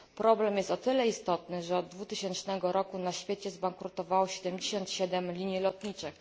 Problem jest o tyle istotny, że od 2000 roku na świecie zbankrutowało 77 linii lotniczych.